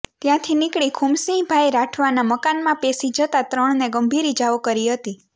ત્યાંથી નીકળી ખુમસિંગભાઇ રાઠવાના મકાનમાં પેસી જતાં ત્રણને ગંભીર ઇજાઓ કરી હતી